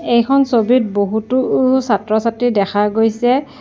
এইখন ছবিত বহুতো ও ছাত্ৰ ছাত্ৰী দেখা গৈছে।